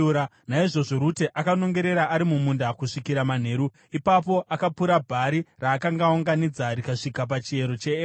Naizvozvo Rute akanongera ari mumunda kusvikira manheru. Ipapo akapura bhari raakanga aunganidza, rikasvika pachiero cheefa .